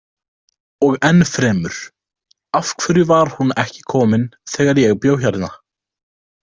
Og ennfremur: Af hverju var hún ekki komin þegar ég bjó hérna?